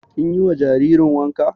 Kin yi wa jaririn wanka?